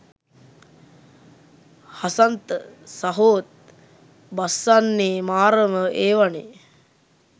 හසන්ත සහෝත් බස්සන්නෙ මාරම ඒවනෙ.